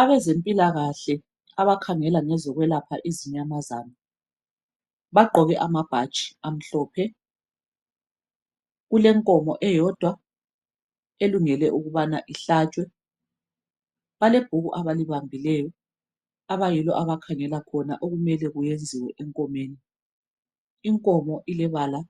abezempilakahle abakhangela ngezokwelapha izinyamazana bagqoke amabhatshi amhlophe kulenkomo eyodwa elungele ukubana ihlatshwe balebhuku abalibambileyo abayilo abakhangela khona okumele kuyenziwe enkomeni inkomo ilebala